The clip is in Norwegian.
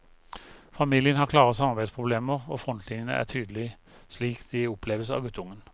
Familien har klare samarbeidsproblemer, og frontlinjene er tydelige slik de oppleves av guttungen.